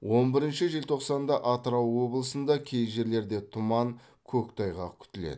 он бірінші желтоқсанда атырау облысында кей жерлерде тұман көктайғақ күтіледі